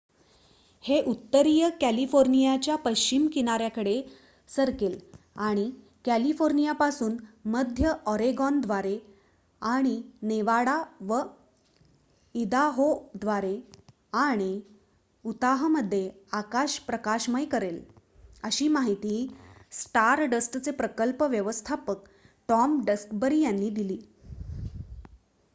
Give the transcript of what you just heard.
"""हे उत्तरीय कॅलिफोर्नियाच्या पश्चिम किनाऱ्याकडे सरकेल आणि कॅलिफोर्नियापासून मध्य ऑरेगॉनद्वारे आणि नेवाडा व इदाहोद्वारे आणि उताहमध्ये आकाश प्रकाशमय करेल," अशी माहिती स्टारडस्टचे प्रकल्प व्यवस्थापक टॉम डक्सबरी यांनी दिली.